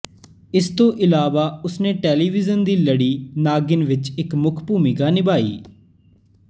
ਇਸ ਤੋਂ ਇਲਾਵਾ ਉਸ ਨੇ ਟੈਲੀਵਿਜ਼ਨ ਦੀ ਲੜੀ ਨਾਗਿਨ ਵਿੱਚ ਇੱਕ ਮੁੱਖ ਭੂਮਿਕਾ ਨਿਭਾਈ